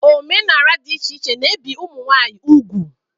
Omenala dị iche iche na ebi ụmụ nwanyị ugwu.